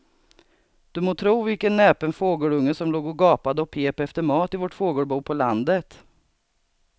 Du må tro vilken näpen fågelunge som låg och gapade och pep efter mat i vårt fågelbo på landet.